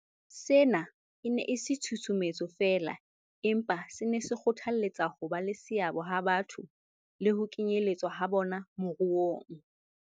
Sena e ne e se tshusumetso feela, empa se ne se kgothalletsa hoba le seabo ha batho le ho kenyeletswa ha bona moruong.